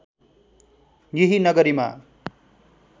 यही नगरीमा